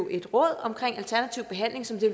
et råd omkring alternativ behandling som det